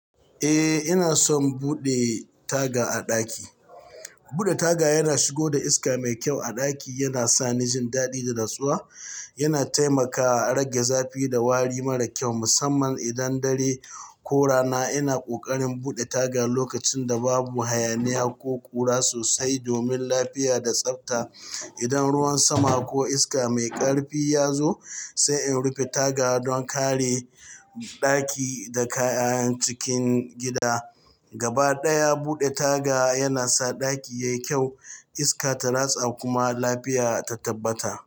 Eh, ina son buɗe taga a ɗaki. Buɗe taga yana shigo da iska mai kyau a ɗaki, yana sa ni jin daɗi da natsuwa. Yana taimakawa a rage zafi da wari mara kyau, musamman idan dare ko rana. Ina ƙoƙarin buɗe taga lokacin da babu hayaniya ko ƙura sosai domin lafiya da tsafta. Idan ruwan sama ko iska mai ƙarfi ya zo, sai in rufe taga don kare ɗaki da kayan cikin gida. Gaba ɗaya, buɗe taga yana sa ɗaki yayi kyau, iska ta ratsa kuma lafiya ta tabbata.